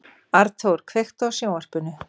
Arnþór, kveiktu á sjónvarpinu.